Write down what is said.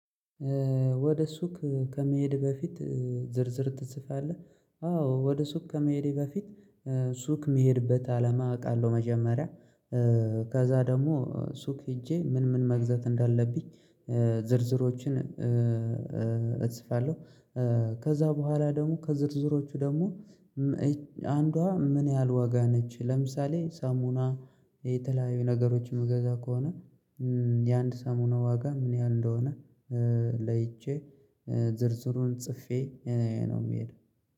ወደ ሱቅ ከመሄድህ በፊት ዝርዝር ትጽፋለህ? አዎ ወደ ሱቅ ከመሄዴ በፊት ሱቅ የምሄድበት አላማ አውቃለሁ መጀመሪያ። ከዛ ደግሞ ሱቅ ሄጄ ምን ምን መግዛት እንዳለብኝ። ዝርዝሮችን እጽፋለሁ። ከዛ በኋላ ደግሞ ከዝርዝሮቹ ደግሞ አንዷ ምን ያህል ዋጋ ነች? ለምሳሌ ሳሙና የተለያዩ ነገሮች ምገዛ ከሆነ የአንድ ሳሙና ዋጋ ምን ያህል እንደሆነ? ለይቼ ዝርዝሩን ጽፌ እኔ ነው የምሄደው